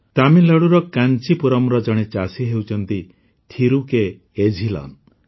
ତାମିଲନାଡ଼ୁର କାଞ୍ଚିପୁରମର ଜଣେ ଚାଷୀ ହେଉଛନ୍ତି ଥିରୁ କେ ଏଝିଲନ୍